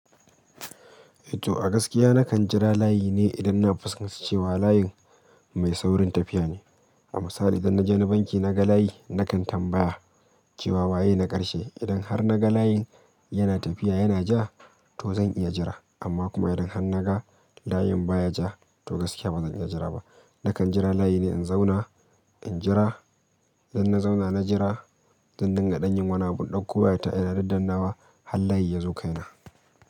To a gaskiya nakan jira layi ne idan na fuskanci cewa layin mai saurin tafiya ne. A misali idan na je ni banki naga layi, nakan tambaya cewa waye na karshe. Idan har naga layin yana tafiya yana ja to zan iya jira, amma kuma idan har naga layin baya ja to gaskiya ba zan iya jira ba. Nakan jira layi ne in zauna, in jira, idan na zauna na jira, zan dinga dan yin wani, abu in dakko waya ta ina daddan nawa har layi ya zo kaina.